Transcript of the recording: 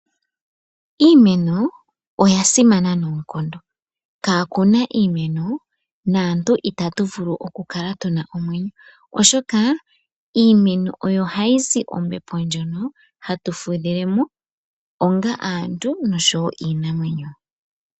Iimeno oya simana noonkondo. Kaa kuna iimeno, naantu ita tu vulu okukala tuna omwenyo. Oshoka iimeno oyo hayi zi ombepo ndjono hatu fudhile mo, onga aantu noshowo iinamwenyo.